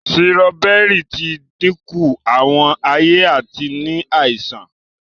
Sírọ́bẹ́rì ti dínkù Àwọn aye àti ní àìsàn